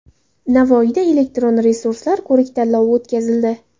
Navoiyda elektron resurslar ko‘rik-tanlovi o‘tkazildi.